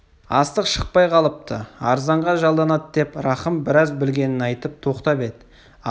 астық шықпай қалыпты арзанға жалданады деп рахым біраз білгенін айтып тоқтап еді асан қоса түсті оның